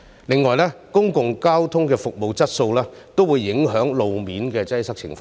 另外，公共交通的服務質素亦會影響路面的擠塞情況。